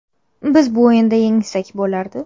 Biz bu o‘yinda yengsak bo‘lardi.